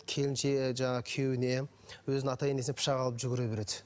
келіншегі жаңағы күйеуіне өзінің ата енесіне пышақ алып жүгіре береді